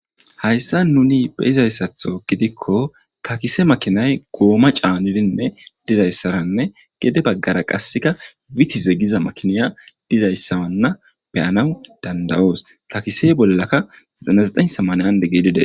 hayssa nuni be izayssatho gidikko takise makinay gooma caanidinne dizayssaranne gede baggara qasseka witize giza makiniya dizayssawanna beyanaw dandawoos takise bollaka smayande gedide